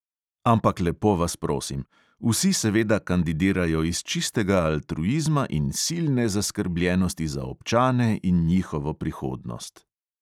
Ampak lepo vas prosim, vsi seveda kandidirajo iz čistega altruizma in silne zaskrbljenosti za občane in njihovo prihodnost.